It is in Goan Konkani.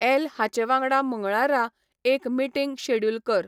ऍल हाचे वांगडा मंगळारा एक मीटींग शॅड्युल कर